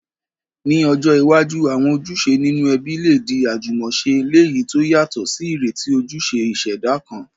Ní ọjọ́ iwájú, àwọn ojúṣe nínú ẹbí lè di àjúmọ̀se, léyìí to yàtò sí ìrètí ojúṣe ìṣẹ̀dá kan.